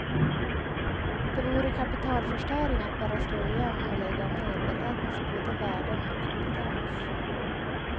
Det vore kapitalförstöring att bara slå igen och lägga ned för här finns både värden och kompetens.